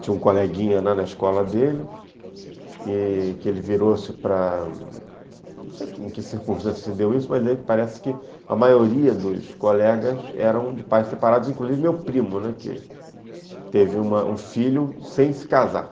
Tinha um coleguinha na escola dele, que ele virou-se para... Não sei em que circunstância se deu isso, mas parece que a maioria dos colegas eram de pais separados, inclusive meu primo, né, que teve um filho sem se casar.